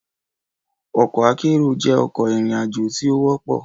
Ọkọ akero jẹ ọkọ irin-ajo ti o wọpọ